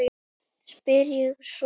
spyr ég svo.